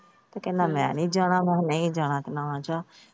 ਤੇ ਕਹਿੰਦਾ ਮੈਂ ਨਹੀਂ ਜਾਣਾ ਵਾ ਨਹੀਂ ਜਾਣਾ ਤਾ ਨਾ ਜਾ।